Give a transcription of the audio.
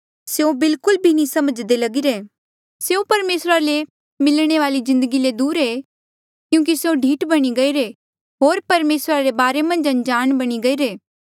स्यों बिलकुल भी नी समझ्दे लगीरे स्यों परमेसरा ले मिलणे वाली जिन्दगी ले दूर ऐें क्यूंकि स्यों ढीठ बणी गईरे होर परमेसरा रे बारे मन्झ अनजाण बणी गईरे